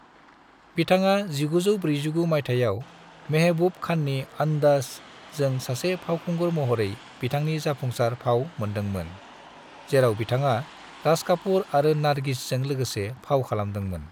बिथाङा 1949 मायथायाव महबूब खाननि 'अंदाज़' जों सासे फावखुंगुर महरै बिथांनि जाफुंसार फाव मोन्दोंमोन, जेराव बिथाङा राज कापुर आरो नारगिसजों लोगोसे फाव खालामदोंमोन।